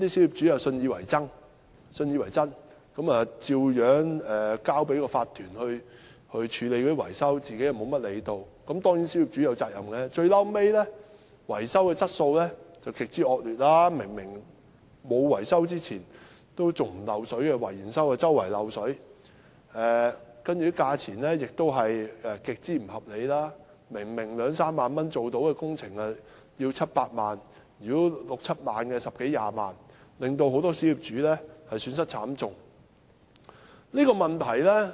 "於是那些小業主信以為真，交由業主立案法團處理維修，自己不怎麼理會——當然，小業主也有責任——最終維修質素極為惡劣，例如單位在維修前沒有滲水，維修後卻四處滲水；價錢亦極不合理，明明是兩三萬元便可完成的工程卻要收取七八萬元，六七萬元的工程則收取十多二十萬元，令很多小業主損失慘重。